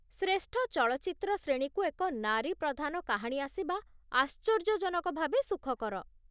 ଶ୍ରେଷ୍ଠ ଚଳଚ୍ଚିତ୍ର ଶ୍ରେଣୀକୁ ଏକ ନାରୀ ପ୍ରଧାନ କାହାଣୀ ଆସିବା ଆଶ୍ଚର୍ଯ୍ୟଜନକ ଭାବେ ସୁଖକର ।